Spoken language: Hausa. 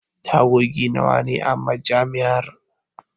Tagogi nawa ne a Majami'ar?